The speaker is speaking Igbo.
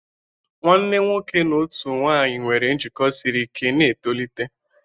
Nwanne nwoke na otu nwanyị nwere njikọ siri ike na-etolite.